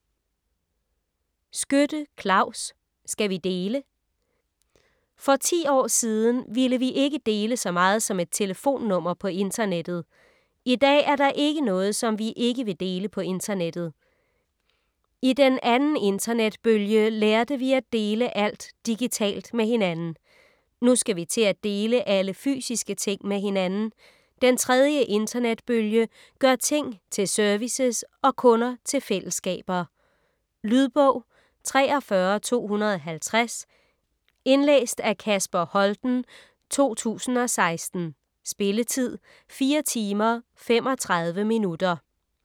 Skytte, Claus: Skal vi dele? For ti år siden ville vi ikke dele så meget som et telefonnummer på internettet. Idag er der ikke noget, som vi ikke vil dele på internettet. I den andeninternetbølge lærte vi at dele alt digitalt med hinanden. Nu skal vi til atdele alle fysiske ting med hinanden. Den tredje internetbølge gør ting tilservices og kunder til fællesskaber. Lydbog 43250 Indlæst af Kasper Holten, 2016. Spilletid: 4 timer, 35 minutter.